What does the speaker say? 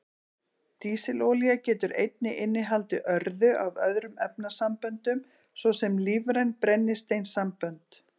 Dísilolía getur einnig innihaldið örðu af öðrum efnasamböndum, svo sem lífræn brennisteinssambönd.